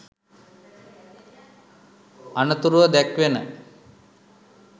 අනතුරුව දැක්වෙන